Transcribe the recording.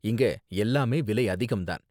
இங்க எல்லாமே விலை அதிகம் தான்.